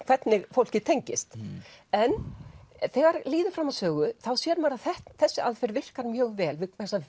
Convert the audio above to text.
hvernig fólkið tengist en þegar líður fram á sögu sér maður að þessi aðferð virkar mjög vel